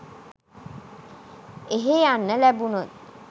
එහෙ යන්න ලැබුනොත්